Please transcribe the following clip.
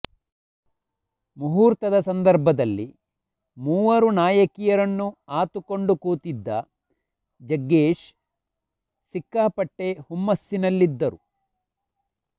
ಮುಹೂರ್ತದ ಸಂದರ್ಭದಲ್ಲಿ ಮೂವರು ನಾಯಕಿಯರನ್ನು ಆತುಕೊಂಡು ಕೂತಿದ್ದ ಜಗ್ಗೇಶ್ ಸಿಕ್ಕಾಪಟ್ಟೆ ಹುಮ್ಮಸ್ಸಿನಲ್ಲಿದ್ದರು